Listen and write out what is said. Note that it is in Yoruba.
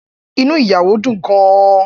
Inú ìyàwó dùn gan-an.